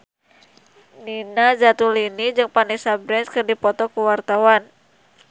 Nina Zatulini jeung Vanessa Branch keur dipoto ku wartawan